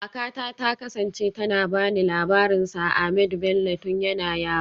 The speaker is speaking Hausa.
Kakata ta kasance tana ba ni labarin Sir Ahmadu Bello tun yana yaro